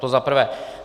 To za prvé.